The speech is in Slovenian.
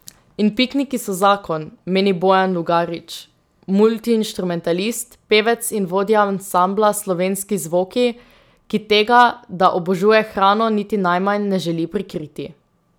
In pikniki so zakon, meni Bojan Lugarič, multiinštrumentalist, pevec in vodja ansambla Slovenski zvoki, ki tega, da obožuje hrano, niti najmanj ne želi prikriti.